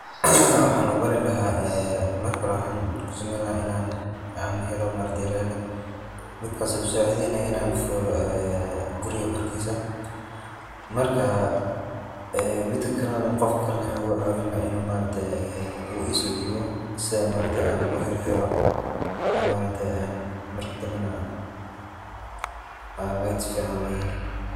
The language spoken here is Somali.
Waxaan uu baari lahaa ee markaa hoore waxan kuu sameyn laaha inaan aan heelo ladder midkaas oo iguu sacideynaayo inaan fuulo ee guriika korkiisa. markaa ee midkaa kaleena qofkaa kaleena wuxu igu cawiin lahaa inu maaragtee ee uu iso diibo sii aa maaragte aan uu xiirxiiro oo maragtee aan markaa dambanaa aan light ficaan loo yeelo.